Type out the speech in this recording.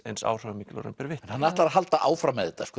eins áhrifamikil og raun ber vitni hann ætlar að halda áfram með þetta